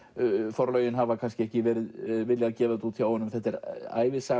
forlögin hafa kannski ekki viljað gefa þetta út þetta er ævisaga